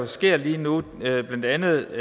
sker lige nu blandt andet